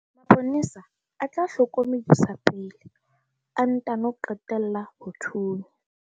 mapolesa a tla hlokomedisa pele a ntano qalella ho thunya